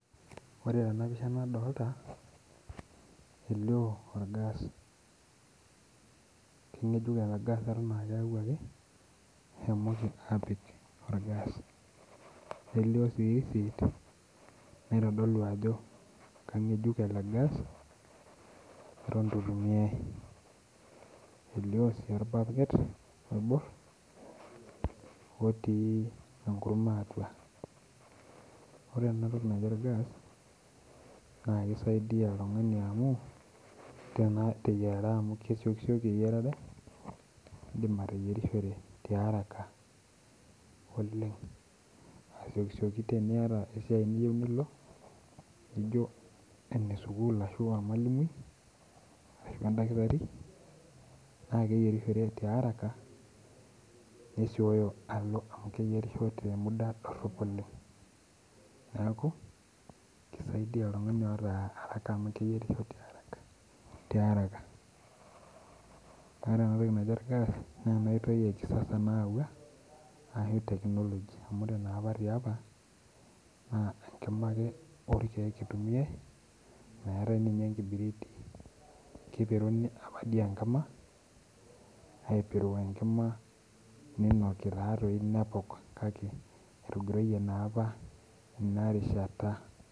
Ord tenapisha nadolta, elio orgas. Keng'ejuk ele gas eton akeuaki, eshomoki apik orgas. Nelio si risit, naitodolu ajo kang'ejuk ele gas, eton itu itumiai. Elio si orbaket oibor, otii enkurma atua. Ore enatoki naji orgas, naa kisaidia oltung'ani amu, teyiarare amu kesiokisioki eyiarare, idim ateyierishore tiaraka oleng asiokisioki teniata esiai niyieu nilo, nijo ene sukuul ashua ormalimui, ashu edakitari, na keyierishore tiaraka, nesioyo alo amu keyierisho te muda dorrop oleng. Neeku, kisaidia oltung'ani oata araka amu keyierisho tiaraka. Ore enatoki naji orgas, na enoitoi e kisasa nayaua, ashu technology. Amu ore napa tiapa, naa enkima ake orkeek itumiai, meetai ninye enkibiriti. Kipiruni apa di enkima, aipiru enkima ninoki tadoi nepok kake, etogiroyie napa inarishata.